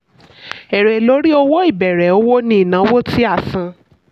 èrè lórí owó ìbẹ̀rẹ̀ òwò ni ìnáwó tí a san.